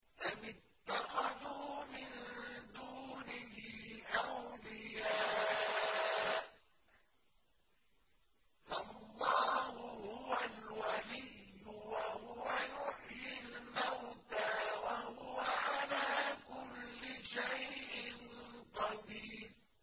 أَمِ اتَّخَذُوا مِن دُونِهِ أَوْلِيَاءَ ۖ فَاللَّهُ هُوَ الْوَلِيُّ وَهُوَ يُحْيِي الْمَوْتَىٰ وَهُوَ عَلَىٰ كُلِّ شَيْءٍ قَدِيرٌ